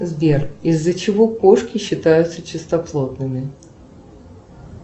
сбер из за чего кошки считаются чистоплотными